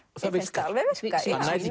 mér finnst það alveg virka